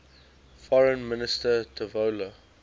foreign minister tavola